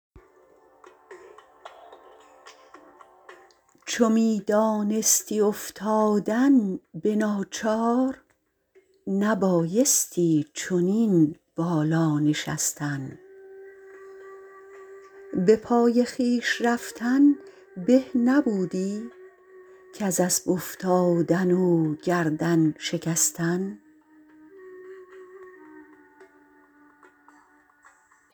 گدایان بینی اندر روز محشر به تخت ملک بر چون پادشاهان چنان نورانی از فر عبادت که گویی آفتابانند و ماهان تو خود چون از خجالت سر برآری که بر دوشت بود بار گناهان اگر دانی که بد کردی و بد رفت بیا پیش از عقوبت عذرخواهان